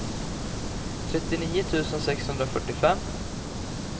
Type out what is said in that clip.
trettionio tusen sexhundrafyrtiofem